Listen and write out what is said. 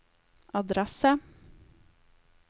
adresse